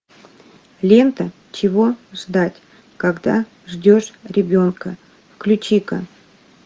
лента чего ждать когда ждешь ребенка включи ка